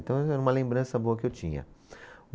Então era uma lembrança boa que eu tinha.